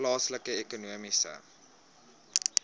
plaaslike ekonomiese